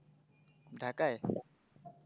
ঢাকায়?